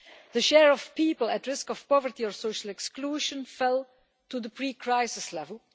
The share of people at risk of poverty or social exclusion fell to the pre crisis level.